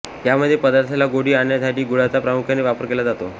यामध्ये पदार्थाला गोडी आणण्यासाठी गुळाचा प्रामुख्याने वापर केला जातो